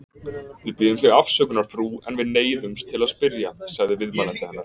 Við biðjum þig afsökunar, frú, en við neyðumst til að spyrja, sagði viðmælandi hennar.